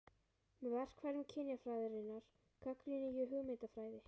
Með verkfærum kynjafræðinnar gagnrýni ég hugmyndafræði